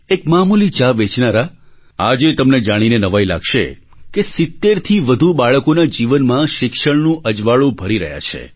એક મામૂલી ચા વેચનારા આજે તમને જાણીને નવાઈ લાગશે કે 70થી વધુ બાળકોના જીવનમાં શિક્ષણનું અજવાળું ભરી રહ્યા છે